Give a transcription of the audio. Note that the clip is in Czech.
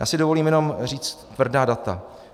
Já si dovolím jenom říct tvrdá data.